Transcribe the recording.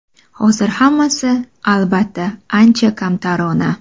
Hozir hammasi, albatta, ancha kamtarona.